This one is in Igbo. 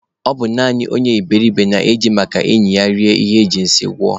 Ọ bụ naanị onye iberiribe na-eji maka enyi ya rie ihe ejiri sie ngọ